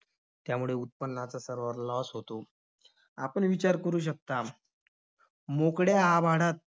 त्यामुळे उत्पन्नाचा सर्व loss होतो. आपण विचार करू शकता, मोकळ्या आभाळात